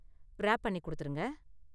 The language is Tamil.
ராப் பண்ணி கொடுத்திருங்க.